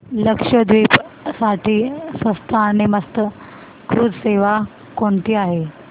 लक्षद्वीप साठी स्वस्त आणि मस्त क्रुझ सेवा कोणती आहे